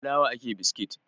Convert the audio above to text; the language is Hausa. Da fulawa ake biskit